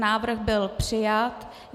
Návrh byl přijat.